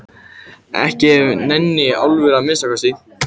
Ekki af neinni alvöru að minnsta kosti.